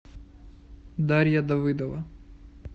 дарья давыдова